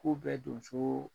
K'u bɛ donso